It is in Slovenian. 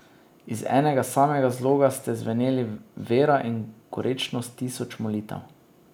Iz enega samega zloga sta zveneli vera in gorečnost tisoč molitev.